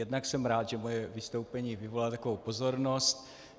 Jednak jsem rád, že moje vystoupení vyvolalo takovou pozornost.